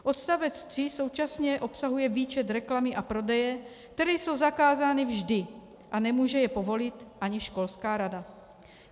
Odstavec 3 současně obsahuje výčet reklamy a prodeje, které jsou zakázány vždy, a nemůže je povolit ani školská rada.